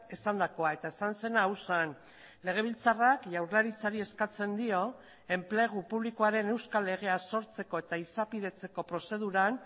esandakoa eta esan zena hau zen legebiltzarrak jaurlaritzari eskatzen dio enplegu publikoaren euskal legea sortzeko eta izapidetzeko prozeduran